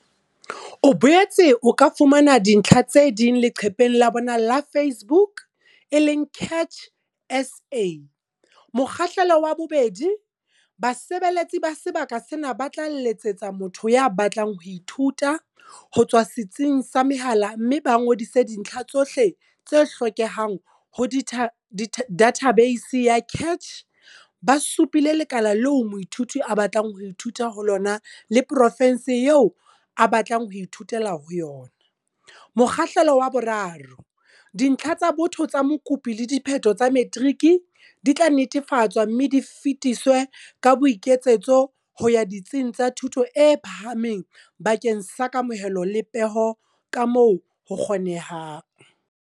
O boetse o ka fumana dintlha tse ding leqepheng la bona la Facebook e leng CACH SA. Mokgahlelo wa 2. Basebeletsi ba sebaka sena ba tla letsetsa motho ya batlang ho ithuta, ho tswa setsing sa mehala mme ba ngodise dintlha tsohle tse hlokehang ho dathabeisi ya CACH, ba supile lekala leo moithuti a batlang ho ithuta ho lona le profense eo a batlang ho ithutela ho yona. Mokgahlelo wa 3, Dintlha tsa botho tsa mokopi le diphetho tsa matriki di tla netefatswa mme di fetiswe ka boiketsetso ho ya ditsing tsa thuto e phahameng bakeng sa kamohelo le peho kamoo ho kgonehang.